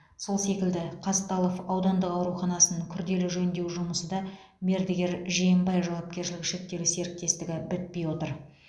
сол секілді қазталов аудандық ауруханасын күрделі жөндеу жұмысы да мердігер жиенбай жауапкершілігі шектеулі серіктестігі бітпей отыр